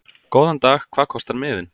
Góðan dag. Hvað kostar miðinn?